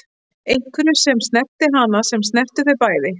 Einhverju sem snerti hana, sem snerti þau bæði.